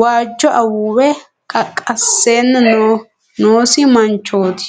waajjo awuuwe qaqqassanni noosi manchooti.